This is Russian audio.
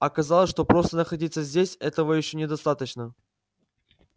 оказалось что просто находиться здесь этого ещё недостаточно